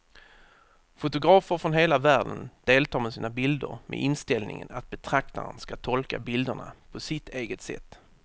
Fotografer från hela världen deltar med sina bilder med inställningen att betraktaren ska tolka bilderna på sitt eget sätt.